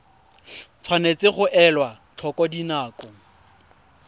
tshwanetse ga elwa tlhoko dinako